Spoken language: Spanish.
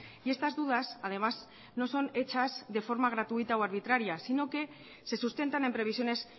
y estas dudas además no son hechas de forma gratuita o arbitraria sino que se sustentan en previsiones